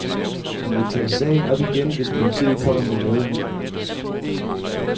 Han vil tage sagen op igen, hvis politiet kommer med noget nyt.